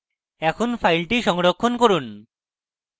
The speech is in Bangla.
এখন file সংরক্ষণ করুন